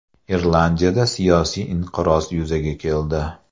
Irlandiyada siyosiy inqiroz yuzaga keldi.